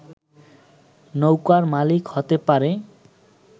নৌকার মালিক হতে পারে